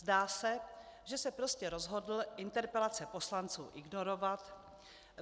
Zdá se, že se prostě rozhodl interpelace poslanců ignorovat.